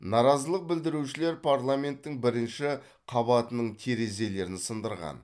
наразылық білдірушілер парламенттің бірінші қабатының терезелерін сындырған